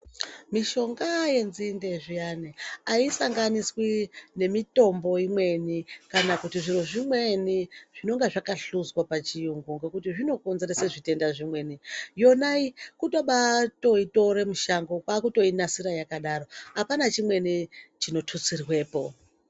Mishonga yenzinde zviyani asanganiswi nemitombo imweni kana zviro zvimweni zvinonga zvaka hluzwa pachiyungu ngokuti zvinokonzeresa zvitenda zvimweni yona iyi kubatoitore mushango kwakutoinasira yakadaro apana chimweni chinotutsirwepo.